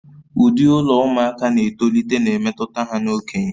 Ụdị ụlọ ụmụaka na-etolite na-emetụta ha na okenye